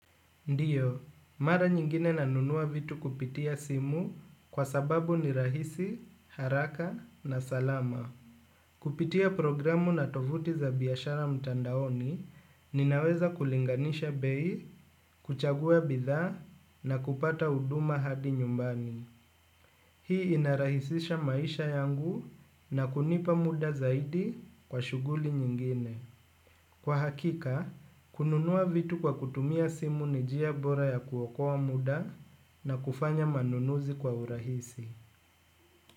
Ndiyo, mara nyingine nanunua vitu kupitia simu kwa sababu ni rahisi, haraka na salama. Kupitia programu na tovuti za biashara mtandaoni, ninaweza kulinganisha bei, kuchagua bidhaa na kupata huduma hadi nyumbani. Hii inarahisisha maisha yangu na kunipa muda zaidi kwa shuguli nyingine. Kwa hakika, kununua vitu kwa kutumia simu ni njia bora ya kuoakoa muda na kufanya manunuzi kwa urahisi.